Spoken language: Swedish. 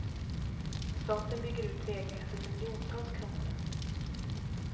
Staten bygger ut vägnätet för miljontals kronor.